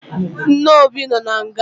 Nne Obi nọ na nga